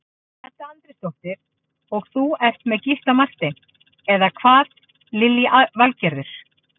Edda Andrésdóttir: Og þú ert með Gísla Martein, eða hvað Lillý Valgerður?